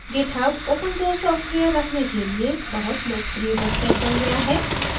github open source software रखने के लिए बहुत लोकप्रिय website बन गया है